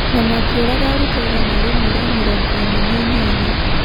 na makĩũraga arutwo igana rĩĩmwe ria mĩrongo ĩna na inyanya.